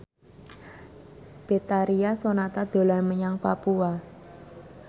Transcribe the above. Betharia Sonata dolan menyang Papua